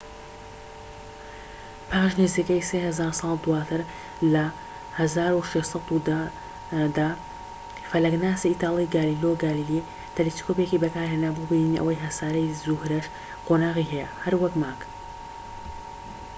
پاش نزیکەی سێ هەزار ساڵ دواتر، لە ١٦١٠ دا، فەلەكناسی ئیتالی گالیلۆ گالیلی تەلەسکۆبێکی بەکارهێنا بۆ بینینی ئەوەی هەساری زوهرەش قۆناغی هەیە، هەر وەك مانگ